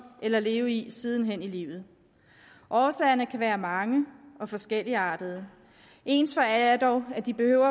eller leve i sidenhen i livet årsagerne kan være mange og forskelligartede ens for alle er dog at de behøver